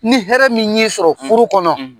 Ni hɛrɛ min sɔrɔ furu kɔnɔ.